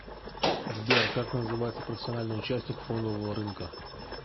сбер как называется профессиональный участник фондового рынка